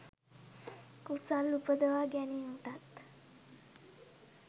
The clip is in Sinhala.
කුසල් උපදවා ගැනීමටත්